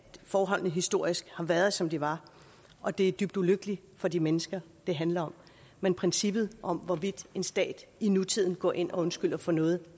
forholdene historisk har været som de var og det er dybt ulykkeligt for de mennesker det handler om men princippet om hvorvidt en stat i nutiden går ind og undskylder for noget